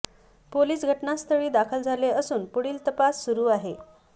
police घटनास्थळी दाखल झाले असून पुढील तपास सुरु आहे